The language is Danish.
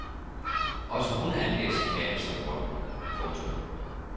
Også hun angav chikane som grund. punktum